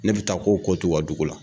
Ne bi taa ko ko t'u ka dugu la.